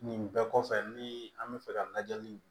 Nin bɛɛ kɔfɛ ni an bɛ fɛ ka lajɛli